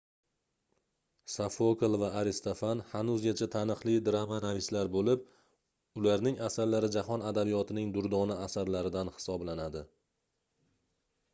sofokl va aristofan hanuzgacha taniqli dramanavislar boʻlib ularning asarlari jahon adabiyotining durdona asarlaridan hisoblanadi